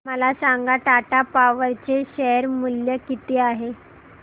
मला सांगा टाटा पॉवर चे शेअर मूल्य किती आहे